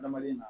Adamaden na